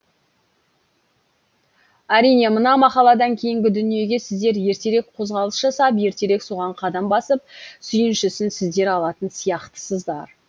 әрине мына мақаладан кейінгі дүниеге сіздер ертерек қозғалыс жасап ертерек соған қадам басып сүйіншісін сіздер алатын сияқтысыздар